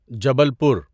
Jabalpur